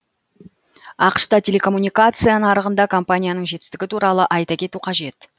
ақш та телекоммуникация нарығында компанияның жетістігі туралы айта кету қажет